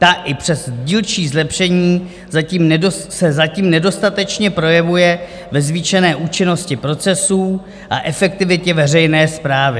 Ta i přes dílčí zlepšení se zatím nedostatečně projevuje ve zvýšené účinnosti procesů a efektivitě veřejné správy.